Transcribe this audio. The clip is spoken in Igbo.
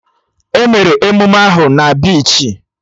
Emere emụme ahụ na bichi